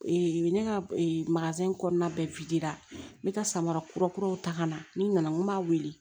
ne ka in kɔnɔna bɛ n bɛ ka samara kura kuraw ta ka na n nana n ko n b'a wele